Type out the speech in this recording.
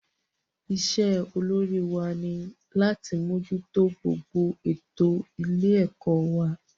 Isé olórí wa ni láti mójútó gbogbo ètò ilé ẹ̀kọ́ wa